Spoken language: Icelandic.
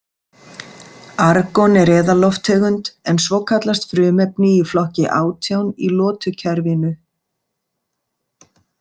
Argon er eðallofttegund en svo kallast frumefni í flokki átján í lotukerfinu.